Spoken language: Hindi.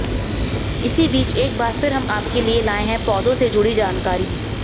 इसी बीच एक बार फिर हम आपके लिए लाएं हैं पौधों से जुड़ी जानकारी